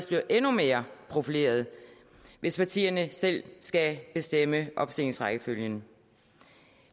bliver endnu mere profilerede hvis partierne selv skal bestemme opstillingsrækkefølgen